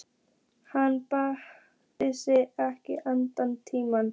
Hann baðaði sig ekkert allan þennan tíma.